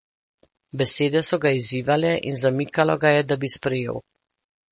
Besede so ga izzivale in zamikalo ga je, da bi sprejel.